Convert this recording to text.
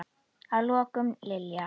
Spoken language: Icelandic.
Að lokum, Lilja.